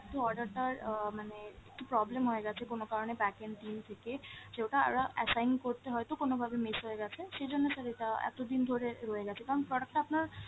একটু order টার আহ মানে একটু problem হয়ে গেছে কোনো কারণে backend team থেকে, সে ওটা ওরা assign করতে হয়তো কোনোভাবে miss হয়ে গেছে, সেইজন্য sir এটা এতদিন ধরে রয়ে গেছে। কারণ product টা আপনার